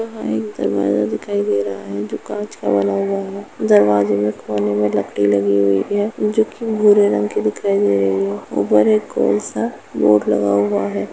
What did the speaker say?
यहाँं एक दरवाजा दिखाई दे रहा है जो कांच का बना हुआ है दरवाजे में कोने में लकड़ी लगी हुई है जोकि भूरे रंग की दिखाई दे रही है ऊपर एक गोल सा बोर्ड लगा हुआ है।